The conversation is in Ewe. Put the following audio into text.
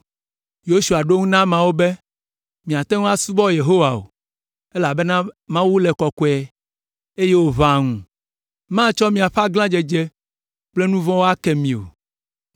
Yosua ɖo eŋu na ameawo be, “Miate ŋu asubɔ Yehowa o, elabena Mawu le kɔkɔe, eye wòʋãa ŋu, matsɔ miaƒe aglãdzedze kple nu vɔ̃wo ake mi o.